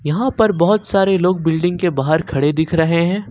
यहां पर बहुत सारे लोग बिल्डिंग के बाहर खड़े दिख रहे है।